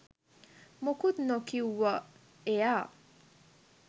මොකුත් නොකිව්ව එයා